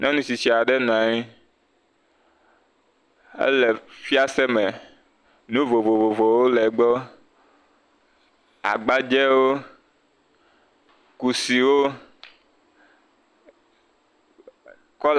Nyɔnutsitsi aɖe nɔ anyi, ele fiase me, nu vovovowo le egbɔ, agbadzewo, kusiwo..